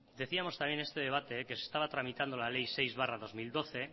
decíamos también este debate que se estaba tramitando la ley seis barra dos mil doce